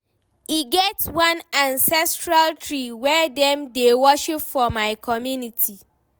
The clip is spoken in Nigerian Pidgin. E get one ancestral tree wey dem dey worship for my community.